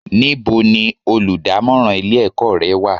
Níbo ni olùdámọ́ràn ilé ẹ̀kọ́ rẹ wà?